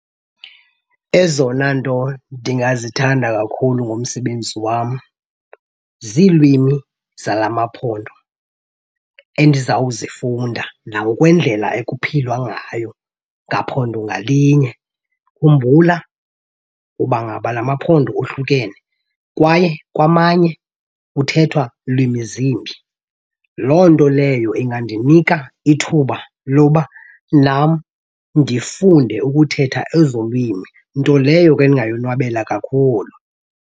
Ezona nto ndingazithanda kakhulu ngomsebenzi wam ziilwimi zalaa maphondo endizawuzifunda nangokwendlela ekuphilwa ngayo ngaphondo ngalinye. Khumbula uba ngaba la maphondo ohlukene kwaye kwamanye kuthethwa lwimi zimbi. Loo nto leyo ingandinika ithuba loba nam ndifunde ukuthetha ezo lwimi, nto leyo ke endingayonwabela kakhulu.